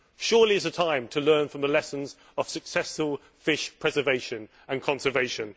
Surely it is time to learn from the lessons of successful fish preservation and conservation.